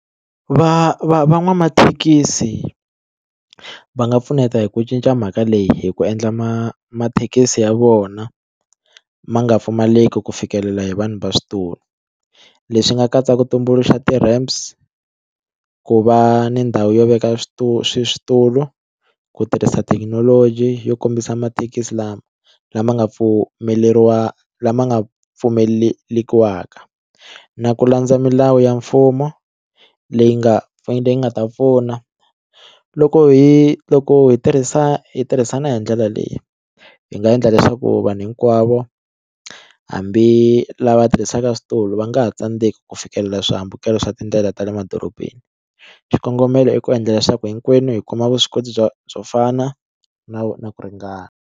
Va va van'wamathekisi va nga pfuneta hi ku cinca mhaka leyi hi ku endla ma mathekisi ya vona ma nga pfumaleki ku fikelela hi vanhu va switulu leswi nga katsa ku tumbuluxa ti-ramps ku va ni ndhawu yo veka switulu ku tirhisa thekinoloji yo kombisa mathekisi lama lama nga pfumeleriwa lama nga pfumeleriwaka na ku landza milawu ya mfumo leyi nga leyi nga ta pfuna loko hi loko hi tirhisa hi tirhisana hi ndlela leyi hi nga endla leswaku vanhu hinkwavo hambi lava tirhisaka switulu va nga ha tsandzeki ku fikelela swihambukelo swa tindlela ta le madorobeni xikongomelo i ku endla leswaku hinkwenu hi kuma vuswikoti byo byo fana no na ku ringana.